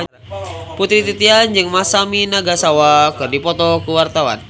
Putri Titian jeung Masami Nagasawa keur dipoto ku wartawan